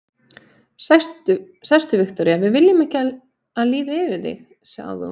Sestu, Viktoría, við viljum ekki að líði yfir þig, sagði hún.